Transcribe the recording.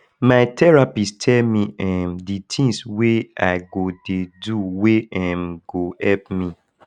my therapist tell me um di tins wey i go dey do wey um go help me